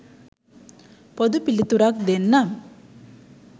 පොදු පිළිතුරක් දෙන්නම්.